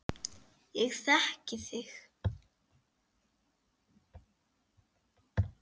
Ég þekki þig